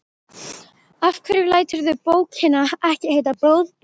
Af hverju læturðu bókina ekki heita Blóðberg?